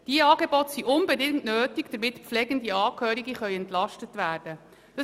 Diese Angebote sind unbedingt nötig, damit pflegende Angehörige entlastet werden können.